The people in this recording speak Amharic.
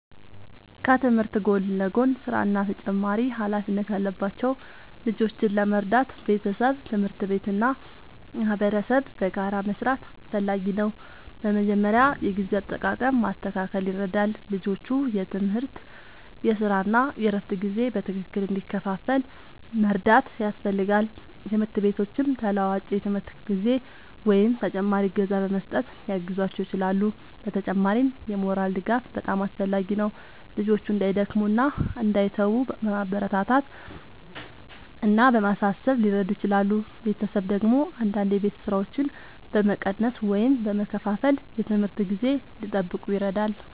ከትምህርት ጎን ለጎን ሥራ እና ተጨማሪ ኃላፊነት ያለባቸው ልጆችን ለመርዳት ቤተሰብ፣ ትምህርት ቤት እና ማህበረሰብ በጋራ መስራት አስፈላጊ ነው። በመጀመሪያ የጊዜ አጠቃቀም ማስተካከል ይረዳል፤ ልጆቹ የትምህርት፣ የሥራ እና የእረፍት ጊዜ በትክክል እንዲከፋፈል መርዳት ያስፈልጋል። ትምህርት ቤቶችም ተለዋዋጭ የትምህርት ጊዜ ወይም ተጨማሪ እገዛ በመስጠት ሊያግዟቸው ይችላሉ። በተጨማሪም የሞራል ድጋፍ በጣም አስፈላጊ ነው፤ ልጆቹ እንዳይደክሙ እና እንዳይተዉ በማበረታታት እና በማሳሰብ ሊረዱ ይችላሉ። ቤተሰብ ደግሞ አንዳንድ የቤት ሥራዎችን በመቀነስ ወይም በመከፋፈል የትምህርት ጊዜ እንዲጠብቁ ይረዳል።